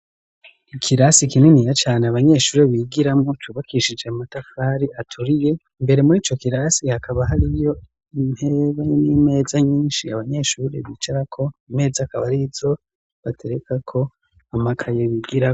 Ikirasi kininiya cane abanyeshure bigiramwo, cubakishije matafari aturiye, imbere muri ico kirasi hakaba hariyo intebe n'imeza nyinshi abanyeshure bicarako, imeza akaba arizo baterekako amakaye bigiramwo.